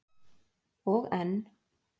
Og enn.